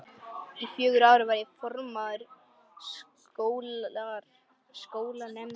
Í fjögur ár var ég formaður skólanefndar.